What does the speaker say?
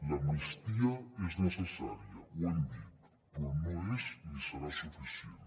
l’amnistia és necessària ho hem dit però no és ni serà suficient